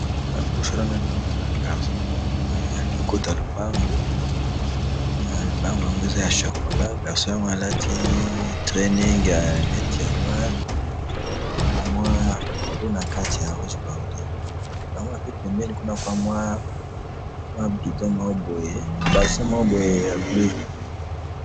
liboso nangai awa nazomona garcon moko boye alingi kota na lupango na lupango yango eza ya chocolat garcon yango alati training ya neti ya noire na likolo nakati ya rouge bordeaux namoni pe pembeni kuna eza bidon moko boye basin moko boye ya bleu